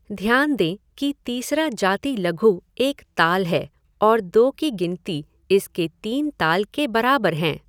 ध्यान दें कि तीसरा जाति लघु एक ताल है और दो की गिनती इसके तीन ताल के बराबर हैं।